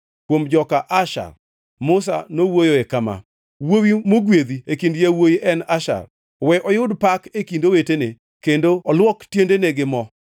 Kuom joka Asher, Musa nowuoyoe kama: Wuowi mogwedhi e kind yawuowi en Asher, we oyud pak e kind owetene, kendo olwok tiendene gi mo.